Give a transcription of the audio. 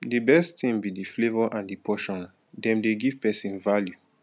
di best thing be di flavor and di portion dem dey give pesin value